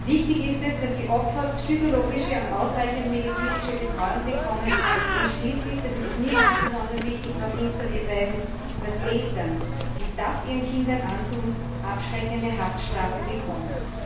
Wichtig ist es, dass die Opfer psychologische und ausreichende medizinische Betreuung bekommen und schließlich das ist mir ganz besonders wichtig darauf hinzuweisen, dass Eltern, die das ihren Kindern antun, abschreckende Haftstrafen bekommen.